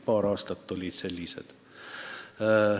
Paar aastat olid sellised.